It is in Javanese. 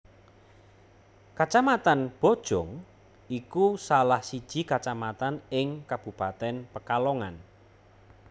Kacamatan Bojong iku salah siji kacamatan ing kabupatèn Pekalongan